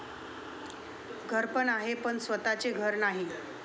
घरपण आहे पण स्वतःचे घर नाही.